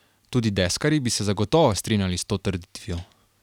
Tudi deskarji bi se zagotovo strinjali s to trditvijo.